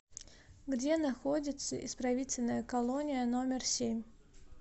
где находится исправительная колония номер семь